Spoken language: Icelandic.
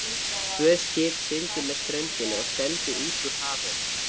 Tvö skip sigldu með ströndinni og stefndu út úr hafinu.